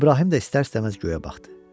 İbrahim də istər-istəməz göyə baxdı.